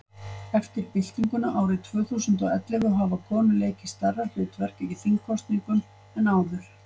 eftir byltinguna árið tvö þúsund og og ellefu hafa konur leikið stærra hlutverk í þingkosningum en áður